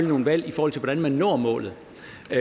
nogle valg i forhold til hvordan man når målet